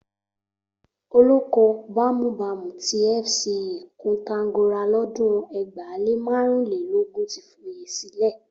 Olóko bámúbamù ti FCE Koǹtàgora lọ́dún ẹgbàá lé márùn-únlélógún ti foyè sílẹ̀.